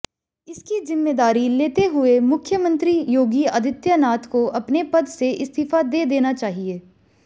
इसकी जिम्मेदारी लेते हुए मुख्यमंत्री योगी आदित्यनाथ को अपने पद से इस्तीफा दे देना चाहिए